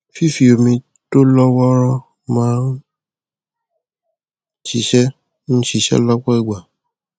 fífi omi tó lọ wọọrọ máa ń ṣiṣẹ ń ṣiṣẹ lọpọ ìgbà